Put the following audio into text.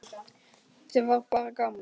Sem var bara gaman.